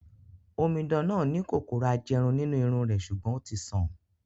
Omidan náà ni kòkòrò ajẹrun nínú irun rẹ̀, sùgbón ó ti sàn